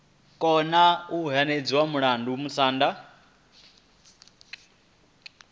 kona u hwedza mulandu musanda